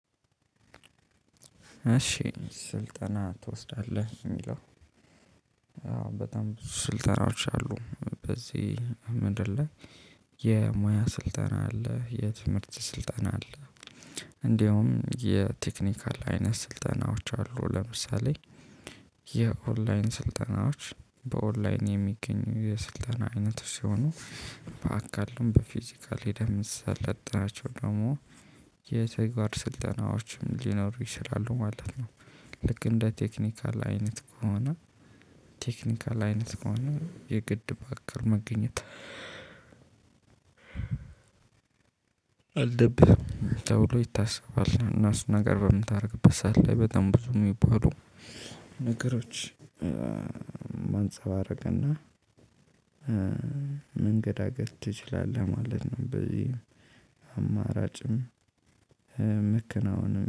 እሺ ስልጠና ትወስዳለህ የሚለው በጣም ስልጠናዎች አሉ በዚህ ምድር ላይ። የሙያ ስልጠና አለ የትምህርት ስልጠና አለ። እንዲያውም የቴክኒካል አይነት ስልጠናዎች አሉ ለምሳሌ። የኦንላይን ስልጠናዎች በኦንላይን የሚገኙ የስልጠና አይነት ሲሆኑ በአካልም በፊዚካል ሂደህ ምሰለጠናቸውን ደግሞ የተግባር ስልጠናዎችም ሊኖሩ ይችላሉ ማለት ነው። ልክ እንደ ቴክኒካል አይነት ከሆነ። ቴክኒካል አይነት ከሆነ የግድ በአካል መገኘት። አልደብስም ተብሎ ይታሰባል እና እሱን ነገር በምታደርግበት ሰዓት ላይ በጣም ብዙ የሚባሉ ነገሮች ማንጸባረቅና መንገዳገድ ትችላለህ ማለት ነው። በዚህ አማራጭም መከናወንም